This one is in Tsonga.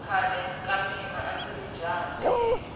khale ka mina andziri jaha ntiyela